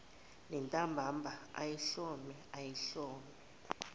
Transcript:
nentambama ayihlome ayihlome